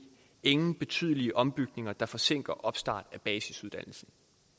ingen betydelige ombygninger der forsinker opstart af basisuddannelsen